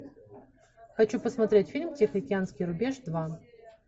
хочу посмотреть фильм тихоокеанский рубеж два